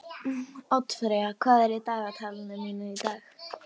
Oddfreyja, hvað er í dagatalinu mínu í dag?